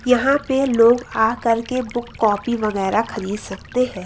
यहां पे लोग आकर के बुक कॉफी वगैरा खरीद सकते हैं।